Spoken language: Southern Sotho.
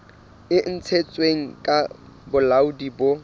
e ntshitsweng ke bolaodi bo